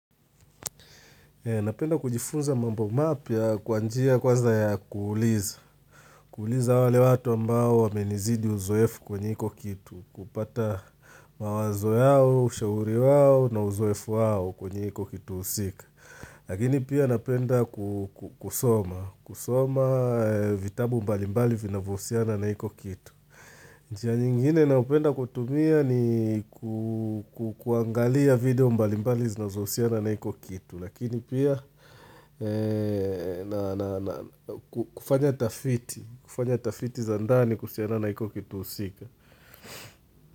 Napenda kujifunza mambo mapya kwa njia kwanza ya kuuliza. Kuuliza wale watu ambao wamenizidi uzoefu kwenye hiko kitu. Kupata mawazo yao, ushauri wao na uzoefu wao kwenye hiko kitu husika. Lakini pia napenda kusoma, kusoma vitabu mbalimbali vinavyohusiana na hiko kitu. Njia nyingine ninayopenda kutumia ni kuangalia video mbalimbali zinazohusiana na hiko kitu. Lakini pia kufanya tafiti, kufanya tafiti za ndani kuhusiana na hiko kitu husika.